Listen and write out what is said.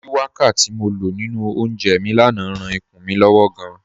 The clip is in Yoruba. Shuwaka ti mo lọ ninu ọ̀únjẹ́ mi lánà ráan ìkùn mi lọ́wọ̀ gáàn.